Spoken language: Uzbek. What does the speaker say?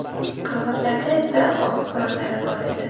Qirg‘izlarda esa ov qurollari bor edi.